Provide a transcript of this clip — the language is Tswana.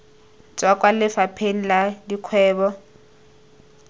tswa kwa lefapheng la dikgwebo